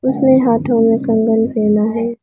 इसने हाठो में कंगन पहना है।